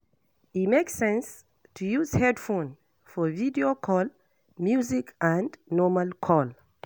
E make sense to use headphone for video call, music and normal call